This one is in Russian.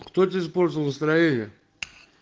кто тебе испортил настроение